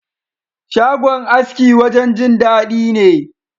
Shagon aski wajen Jin dadi ne.